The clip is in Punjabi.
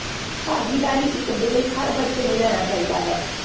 ਭਾਗੀਦਾਰੀ ਇੱਕ ਬ੍ਰੇਕ ਹਰ ਬੱਚੇ ਨੂੰ ਲੈਣਾ ਚਾਹੀਦਾ ਹੈ